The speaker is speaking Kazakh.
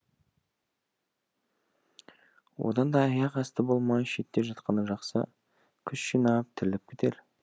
одан да аяқ асты болмай шетте жатқаны жақсы күш жинап тіріліп кетер